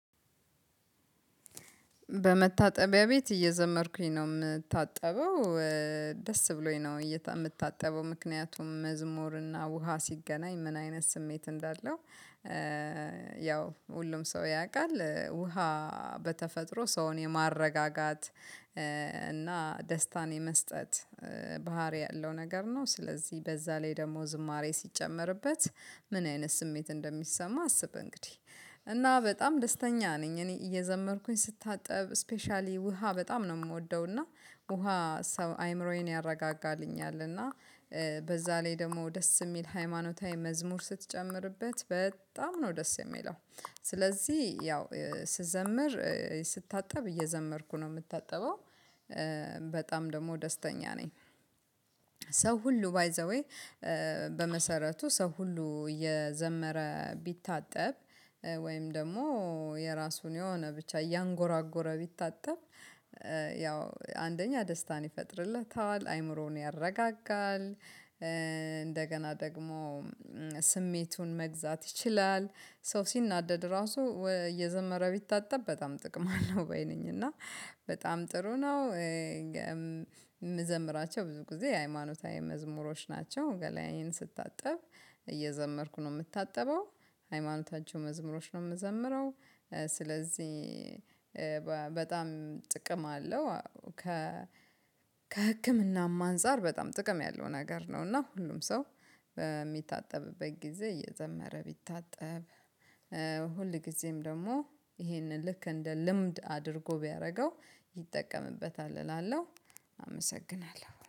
በመታጠቢያ ቤት እየዘመርኩኝ ነው የምታጠበው ደስ ብሎኝ ነው የምታጠበው ምክንያቱም መዝሙርና ውሃ ሲገናኝ ምን አይነት ስሜት እንዳለው ያው ሁሉም ሰው ያውቃል ውሃ በተፈጥሮ ሰውን የማረጋጋት እና ደስታን የመስጠት ባህሪ ያለው ነገር ነው ስለዚህ በዛ ላይ ደግሞ ዝማሬ ሲጨመርበት ምን አይነት ስሜት እንደሚሰማ አስብ እንግዲህ እና በጣም ደስተኛ ነኝ እኔ እየዘመርኩኝ ስታጠብ ስፔሻሊ ውሃ በጣም ነው የምወደው እና ውሃ ሰው አይምሮዬን ያረጋጋልኛል እና በዛ ላይ ደግሞ ደስ የሚል ሃይማኖታዊ መዝሙር ስትጨምርበት በጣም ነው ደስ የሚለው ባህሪ ያለው ነገር ነው ስለዚህ በዛ ላይ ደግሞ ዝማሬ ሲጨመርበት ምን አይነት ስሜት እንደሚሰማ አስብ እንግዲህ እና በጣም ደስተኛ ነኝ እኔ እየዘመርኩኝ ስታጠብ ስፔሻሊ ውሃ በጣም ነው የምወደው እና ሰው ሁሉ ባይዘዌ በመሰረቱ ሰው ሁሉ እየዘመረ ቢታጠብ ወይም ደግሞ የራሱን የሆነ ብቻ እያንጎራጎረ ቢታጠብ አንደኛ ደስታን ይፈጥርለታል አእምሮን ያረጋጋል እንደገና ደግሞ ስሜቱን መግዛት ይችላል ሰው ሲናደድ እራሱ እየዘመረ ቢታጠብ በጣም ጥቅም አለው ባይ ነኝ እና በጣም ጥሩ ነው የምዘምራቸው ብዙ ጊዜ የሃይማኖታዊ መዝሙሮች ናቸው ገላዬን ስታጠብ እየዘመርኩ ነው ምታጠበው ሃይማኖታዊ መዝሙሮችን ነው ምወምረው ስለዚህ ጥቅም አለው። ከህምናም አንፃር በጣም ጥቅም ያለው ነገር ነው ሁል ጊዜ ደግሞ ይህንን ልክ እንደ ልምድ አድርጎ ቢያደርገው